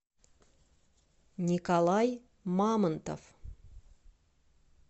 николай мамонтов